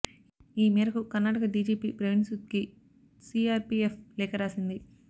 ఈ మేరకు కర్ణాటక డీజీపీ ప్రవీణ్ సూద్కి సీఆర్పీఎఫ్ లేఖ రాసింది